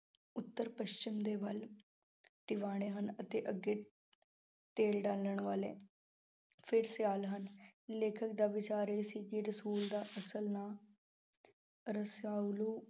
ਉੱਤਰ-ਪੱਛਮ ਦੇ ਵੱਲ ਟਿਵਾਣੇਂ ਹਨ। ਅਤੇ ਅੱਗੇ ਤੇਲ ਡਾਲਣ ਵਾਲੇ, ਫਿਰ ਸਿਆਲ ਹਨ। ਲੇਖਕ ਦਾ ਵਿਚਾਰ ਇਹ ਸੀ, ਰਸੂਲ ਦਾ ਅਸਲ ਨਾਂ ਰਸਾਵਲੂ।